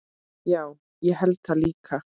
Já, ég held það líka.